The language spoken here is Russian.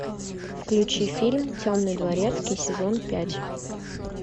включи фильм темный дворецкий сезон пять